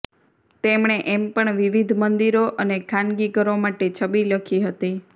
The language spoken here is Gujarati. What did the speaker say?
તેમણે એમ પણ વિવિધ મંદિરો અને ખાનગી ઘરો માટે છબી લખી હતી